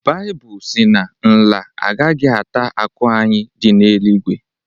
Baịbụl sị na nla agaghị ata akụ anyị dị n’eluigwe